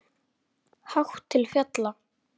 Hátt til fjalla?